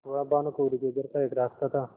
वह भानुकुँवरि के घर का एक रास्ता था